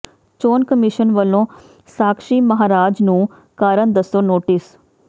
ਚੋਣ ਕਮਿਸ਼ਨ ਵੱਲੋਂ ਸਾਕਸ਼ੀ ਮਹਾਰਾਜ ਨੂੰ ਕਾਰਨ ਦੱਸੋ ਨੋਟਿਸ